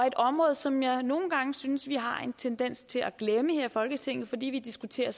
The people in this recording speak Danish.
et område som jeg nogle gange synes vi har en tendens til at glemme her i folketinget fordi vi diskuterer